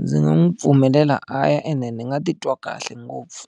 Ndzi nga n'wi pfumelela a ya ene ni nga titwa kahle ngopfu.